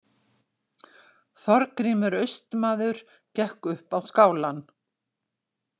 Þorgrímur austmaður gekk upp á skálann.